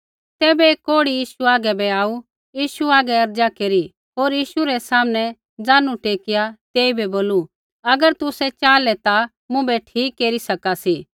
तैबै एक कोढ़ी यीशु हागै बै आऊ यीशु हागै अर्ज़ा केरी होर यीशु रै सामनै ज़ानू टेकिआ तेइबै बोलू अगर तुसै च़ाहलै ता मुँभै ठीक केरी सका सी